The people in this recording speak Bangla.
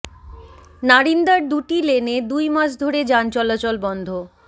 নারিন্দার দুটি লেনে দুই মাস ধরে যান চলাচল বন্ধ